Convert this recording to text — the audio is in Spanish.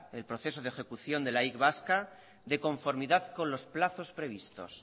el proceso de ejecución de la y vasca de conformidad con los plazos previstos